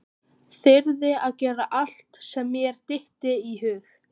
Þyrði að gera allt sem mér dytti í hug.